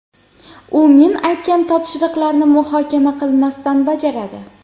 U men aytgan topshiriqlarni muhokama qilmasdan bajaradi.